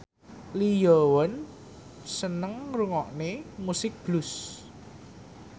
Lee Yo Won seneng ngrungokne musik blues